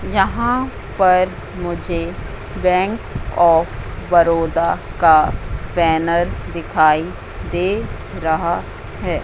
यहां पर मुझे बैंक ऑफ़ बड़ौदा का बैनर दिखाई दे रहा है।